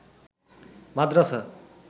মাদ্রাসা